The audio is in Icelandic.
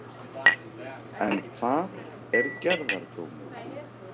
En hvað er gerðardómur?